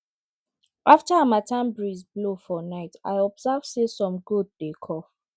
after harmattan breeze blow for night i observe say some goats dey cough